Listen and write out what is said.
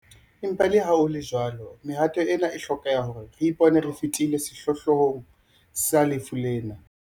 Empa leha ho le jwalo, mehato ena e a hlokeha hore re ipone re fetile sehlohlolong sa lefu lena.